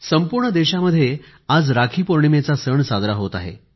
संपूर्ण देशामध्ये आज राखीपौर्णिमेचा सण साजरा होत आहे